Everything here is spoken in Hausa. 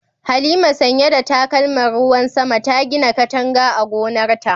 Halima, sanye da takalman ruwan sama, ta gina katanga a gonarta.